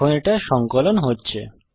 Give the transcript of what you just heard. এখন এটা সঙ্কলন হচ্ছে